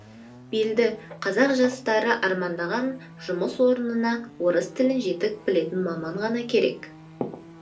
белді қазақ жастары армандаған жұмыс орынына орыс тілін жетік білетін маман ғана керек